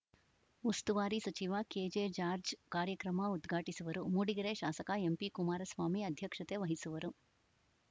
ಉಸ್ತುವಾರಿ ಸಚಿವ ಕೆಜೆಜಾರ್ಜ್ ಕಾರ್ಯಕ್ರಮ ಉದ್ಘಾಟಿಸುವರು ಮೂಡಿಗೆರೆ ಶಾಸಕ ಎಂಪಿಕುಮಾರಸ್ವಾಮಿ ಅಧ್ಯಕ್ಷತೆ ವಹಿಸುವರು